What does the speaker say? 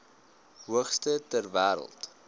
hoogste ter wêreld